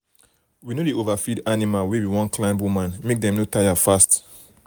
we no dey overfeed animal wey we wan climb woman make dem no tire fast.